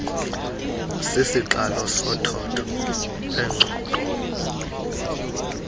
sisiqalo sothotho lweengxoxo